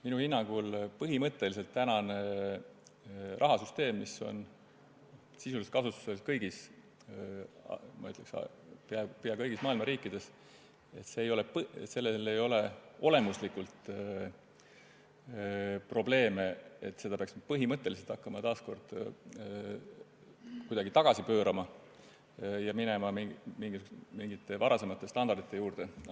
Minu hinnangul ei ole tänane rahasüsteem, mis on sisuliselt kasutusel peaaegu kõigis maailma riikides, olemuslikult probleemne, et seda peaks põhimõtteliselt hakkama taas kuidagi tagasi pöörama ja minema mingite varasemate standardite juurde.